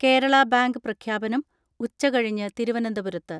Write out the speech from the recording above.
Kerala bank പ്രഖ്യാപനം ഉച്ചകഴിഞ്ഞ് തിരുവനന്തപുരത്ത്.